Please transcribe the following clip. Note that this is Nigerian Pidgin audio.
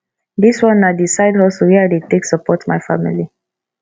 dis one na di side hustle wey i dey take support my family